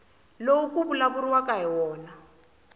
lowu ku vulavuriwaka hi wona